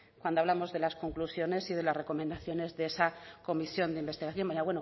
cuando hablamos de las conclusiones y de las recomendaciones de esa comisión de investigación baina